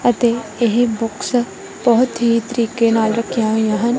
ਅਤੇ ਇਹ ਬੁੱਕਸ ਬਹੁਤ ਹੀ ਤਰੀਕੇ ਨਾਲ ਰੱਖੀਆਂ ਹੋਈਆਂ ਹਨ।